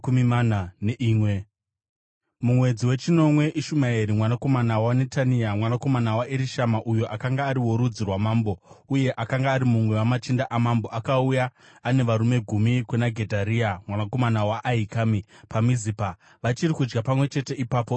Mumwedzi wechinomwe, Ishumaeri mwanakomana waNetania, mwanakomana waErishama, uyo akanga ari worudzi rwamambo, uye akanga ari mumwe wamachinda amambo, akauya ane varume gumi kuna Gedharia mwanakomana waAhikami, paMizipa. Vachiri kudya pamwe chete ipapo,